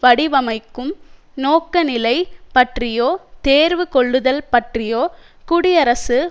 வடிவமைக்கும் நோக்கநிலை பற்றியோ தேர்வுகொள்ளுதல் பற்றியோ குடியரசு